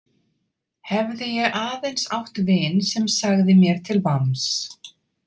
Hefði ég aðeins átt vin sem sagði mér til vamms.